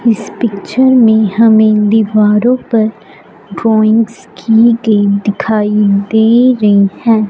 इस पिक्चर में हमें दीवारों पर ड्राइंग्स की हुई दिखाई दे रही हैं।